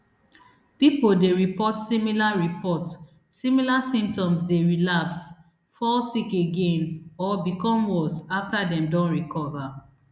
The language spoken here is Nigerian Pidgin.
pipo dey report similar report similar symptoms dey relapse fall sick again or become worse afta dem don recover